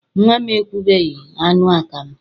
Nnwa m ekweghị aṅụ akamụ.